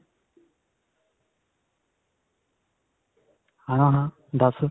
ਹਾਂ, ਹਾਂ ਦਸ.